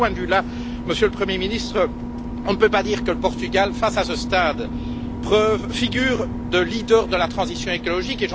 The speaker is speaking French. De ce point de vue, Monsieur le Premier ministre, on ne peut pas dire que le Portugal fasse, à ce stade, figure de leader de la transition écologique.